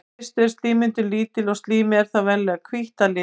í fyrstu er slímmyndun lítil og slímið er þá venjulega hvítt að lit